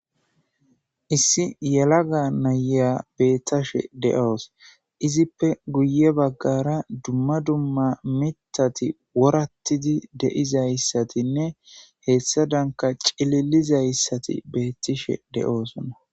Issi yelaga naya betashe de'awus izzippe guye bagara duma duma mithati worayidi de'izaysatine hedanka cililizaysati betishe de'osona